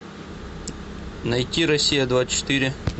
найти россия двадцать четыре